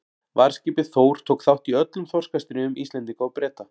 Varðskipið Þór tók þátt í öllum þorskastríðum Íslendinga og Breta.